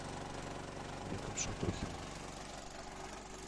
беком шатохиным